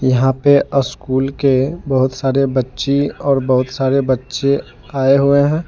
यहां पर स्कूल के बहुत सारे बच्चे और बहुत सारे बच्चे आए हुए हैं।